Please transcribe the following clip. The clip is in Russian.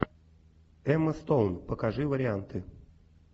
эмма стоун покажи варианты